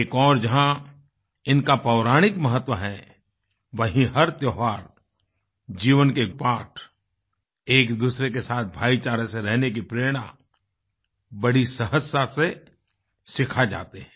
एक ओर जहाँ इनका पौराणिक महत्व है वहीं हर त्योहार जीवन के पाठ एक दूसरे के साथ भाईचारे से रहने की प्रेरणा बड़ी सहजता से सिखा जाते हैं